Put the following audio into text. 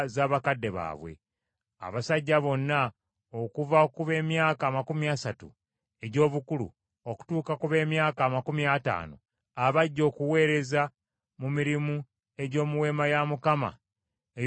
Abasajja bonna okuva ku b’emyaka amakumi asatu egy’obukulu okutuuka ku b’emyaka amakumi ataano abajja okuweereza mu mirimu egy’omu Weema ey’Okukuŋŋaanirangamu,